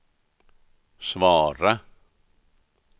svara